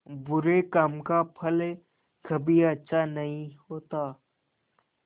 बुरे काम का फल कभी अच्छा नहीं होता